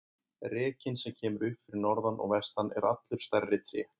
Rekinn sem kemur upp fyrir norðan og vestan er allur stærri tré.